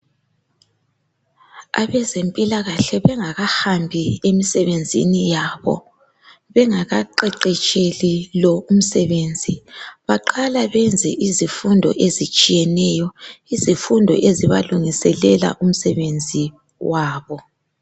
Abezempilakahle bengakahambi emsebenzini yabo, bengakaqeqetsheli lo umsebenzi, baqala benze izifundo ezitshiyeneyo, izifundo ezibalungiselela umsebenzi wabo.